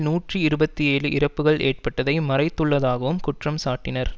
நூற்றி இருபத்தி ஏழு இறப்புக்கள் ஏற்பட்டதை மறைத்துள்ளதாகவும் குற்றம் சாட்டினர்